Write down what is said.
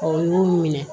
Ɔ u y'u minɛ